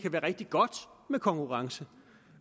være rigtig godt med konkurrence